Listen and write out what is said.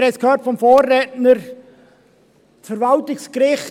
Wir haben es vom Vorredner gehört: